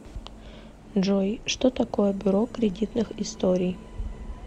джой что такое бюро кредитных историй